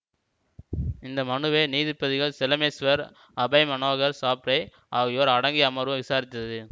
இந்த மனுவை நீதிபதிகள் செலமேஸ்வர் அபய் மனோகர் சாப்ரே ஆகியோர் அடங்கிய அமர்வு விசாரித்தது